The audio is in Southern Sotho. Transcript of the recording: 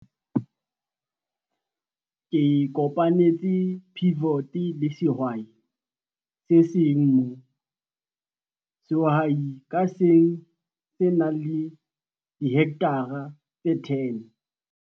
Ke kopanetse pivot le sehwai se seng moo sehwai ka seng se nang le dihekthara tse 10.